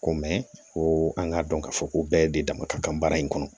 Ko mɛ ko an k'a dɔn k'a fɔ ko bɛɛ de dama ka kan baara in kɔnɔ